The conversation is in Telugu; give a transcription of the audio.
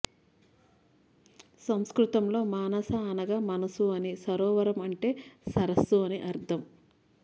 సంస్కృతంలో మానస అనగా మనసు అని సరోవరం అంటే సరస్సు అని అర్థం